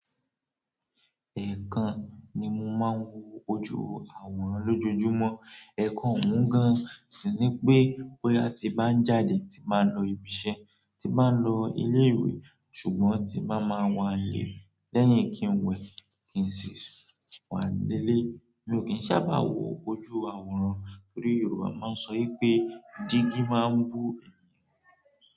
Ẹ̀ẹ̀kan ni mo máa ń wo ojú àwòrán lójoojúmọ́. Ẹ̀ẹ̀kan ún gan-an, ṣi ni pé bóyá tí bá ń jáde, tí bá ń lọ ibi iṣẹ́, tí bá ń lọ ilé ìwé ṣùgbọ́n tí bá máa wà lé lẹ́yìn kí n wẹ̀, kí n sì wà lé lé, mi ò kí ń sábà wo ojú àwòrán torí Yorùbá máa ń sọ pé dígí máa ń bú ènìyàn.